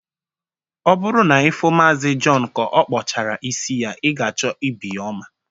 Ọ bụrụ na ị fụụ Maazi Jọn ka ọkpụchara isi yaa, ị ga-achọ ibi ya ọma.